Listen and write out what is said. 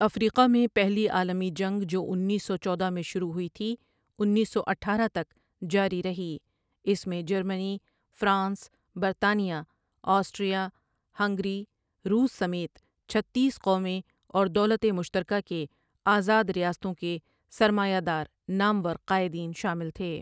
افریقہ میں پہلی عالمی جنگ جو انیس سو چودہ میں شروع ہوئی تھی انیس سو اٹھارہ تک جاری رہی اس میں جرمنی ، فرانس ، برطانیہ ، آسٹریا ، ہنگری ، روس سمیت چھتیس قومیں اور دولت مشترکہ کے آزاد ریاستوں کے سرمایہ دار نامور قائدین شامل تھے۔